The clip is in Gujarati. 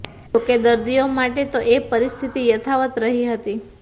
જો કે દર્દીઓ માટે તો એ પરિસ્થિતિ યથાવત રહી હતી